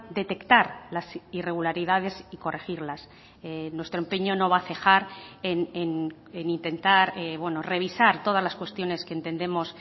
detectar las irregularidades y corregirlas nuestro empeño no va a cejar en intentar revisar todas las cuestiones que entendemos